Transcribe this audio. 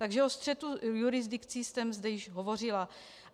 Takže o střetu jurisdikcí jsem zde již hovořila.